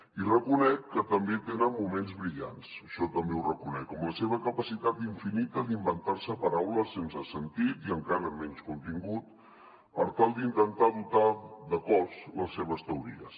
i reconec que també tenen moments brillants això també ho reconec com la seva capacitat infinita d’inventar·se paraules sense sentit i encara menys contin·gut per tal d’intentar dotar de cos les seves teories